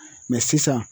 sisan